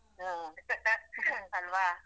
ಅಲ್ವಾ.